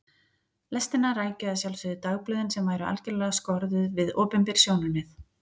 Lestina rækju að sjálfsögðu dagblöðin sem væru algerlega skorðuð við opinber sjónarmið.